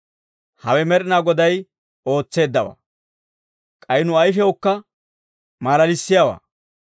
Hawe Med'inaa Goday ootseeddawaa; k'ay nu ayifiyawukka malalissiyaawaa.